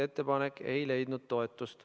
Ettepanek ei leidnud toetust.